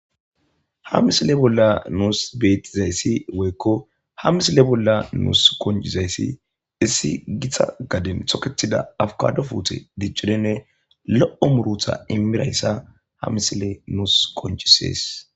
ha misile bolla nuus betizayssi woykko ha misile bolla nuus konjizayssi issi githa gaden toketida afukado puute diccirinne lo7o murutha imirayssa ha misile nuus koncisees